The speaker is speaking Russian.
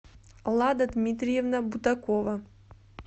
лада дмитриевна бутакова